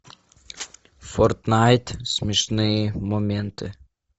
фортнайт смешные моменты